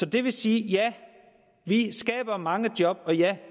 det vil sige at ja vi skaber mange job og ja